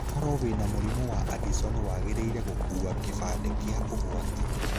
Koro wĩna mũrimũ wa addison wangĩrĩire gũkua gĩbande kĩa ũgwati.